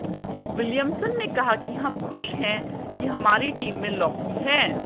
Williamson ने कहा कि हम खुश हैं कि हमारी टीम में लॉकी हैं